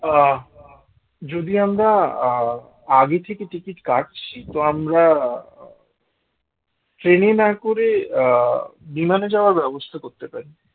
আহ যদি আমরা আগে থেকে ticket কাটছি তো আমরা train এ না করে আহ বিমানে যাওয়ার ব্যবস্থা করতে পারি